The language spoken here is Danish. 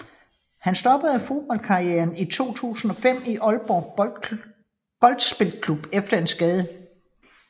Han stoppede fodboldkarrieren i 2005 i Aalborg Boldspilklub efter en skade